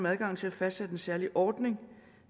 adgangen til at fastsætte en særlig ordning